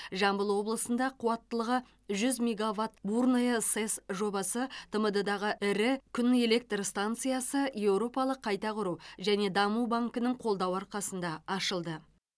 жамбыл облысында қуаттылығы жүз мегаватт бурное сэс жобасы тмд дағы ірі күн электр станциясы еуропалық қайта құру және даму банкінің қолдауы арқасында ашылды